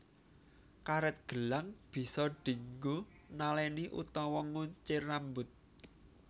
Karet gelang bisa dinggo naleni utawa nguncir rambut